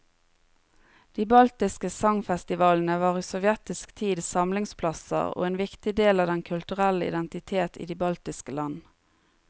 De baltiske sangfestivalene var i sovjetisk tid samlingsplasser og en viktig del av den kulturelle identitet i de baltiske land.